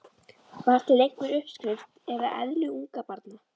Var til einhver uppskrift að eðli ungabarna?